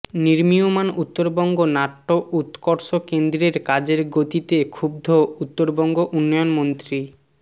নির্মীয়মাণ উত্তরবঙ্গ নাট্য উৎকর্ষ কেন্দ্রের কাজের গতিতে ক্ষুব্ধ উত্তরবঙ্গ উন্নয়ন মন্ত্রী